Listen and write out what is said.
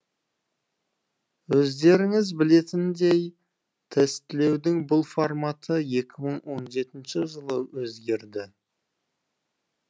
өздеріңіз білетіндей тестілеудің бұл форматы екі мың он жетінші жылы өзгерді